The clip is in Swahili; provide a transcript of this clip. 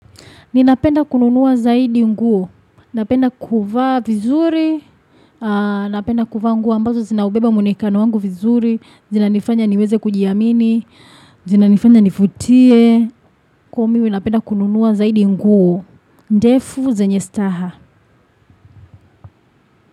Ninapenda kununua zaidi nguo. Napenda kuvaa vizuri. Napenda kuvaa nguo ambazo zinaubeba munekano wangu vizuri. Zinanifanya niweze kujiamini. Zina nifanya nifutie. Kumi winapenda kununua zaidi nguo. Ndefu zenye staha.